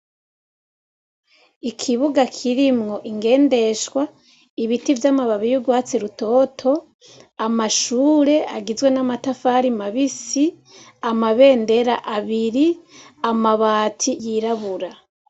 Ikibuga kirimwo ingendeshwa, ibiti vy'amababi y'urwatsi rutoto, amashure agizwe n'amatafari mabisi, amabendera abiri, amabati y'irabura.